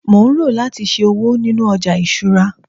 mo n ro lati ṣe òwò ninu oja isura